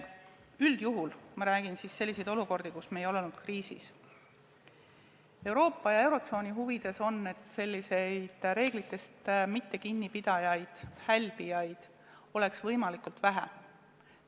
Üldjuhul – ma pean silmas olukordi, kus me ei ole olnud kriisis – Euroopa ja eurotsooni huvides on, et selliseid reeglitest mitte kinni pidajaid, hälbijaid, oleks võimalikult vähe.